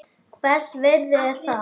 Hvers virði er það?